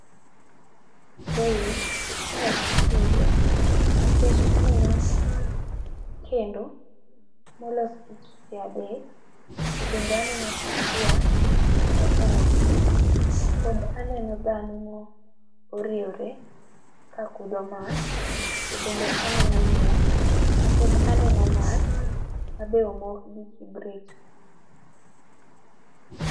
kae itedo nikech aneno kendo molos gi kite adek, to bende aneno sufria mopong'o pi , pod aneno dhano moriewro kakudho mach. To bende aneno yien, pod aneno mach ma be omok gi kibrit.